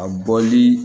A bɔli